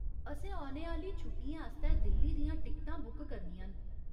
असें औने आह्‌ली छुट्टियें आस्तै दिल्ली दियां टिकटां बुक करनियां न।